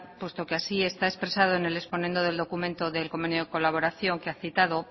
puesto que así está expresado en el exponendo del documento del convenio de colaboración que ha citado